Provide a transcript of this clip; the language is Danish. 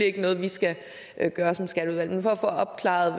ikke noget vi skal gøre som skatteudvalg men for at få opklaret